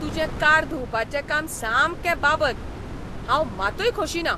तुजें कार धुवपाचें काम सामकें बाबत, हांव मातूय खोशी ना.